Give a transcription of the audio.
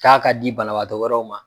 K'a ka di banabaatɔ wɛrɛw ma.